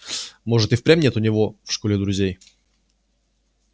может и впрямь нет у него в школе друзей